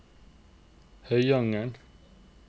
Høyanger